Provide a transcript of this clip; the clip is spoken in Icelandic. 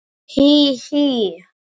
Hí, hí.